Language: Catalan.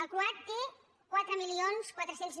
el croat té quatre mil quatre cents